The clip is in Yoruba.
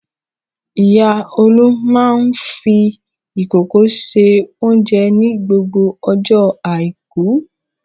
Ìyá Olú máa ń fi ìkòkò se oúnjẹ ní gbogbo ọjọ́ àìkú.